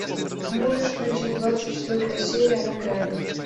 можешь включить двадцать четвертая серия на грани